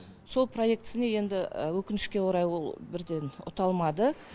сол проектісіне енді өкінішке орай ол бірден ұта алмады